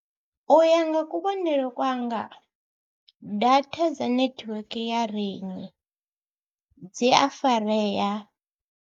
U ya nga kuvhonele kwanga data dza netiweke ya Rain dzi a farea.